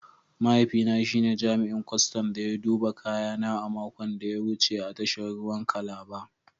Mahaifina shi ne jami'in kwastan da ya duba kayana a makon da ya wuce a tashar ruwan Calabar